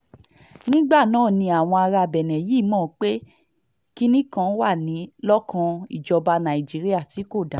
nígbà náà ni àwọn ará benne yìí mọ̀ pé kinní kan wà lọ́kàn ìjọba nàìjíríà tí kò dáa